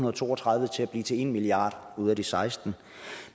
og to og tredive til at blive til en milliard ud af de sekstende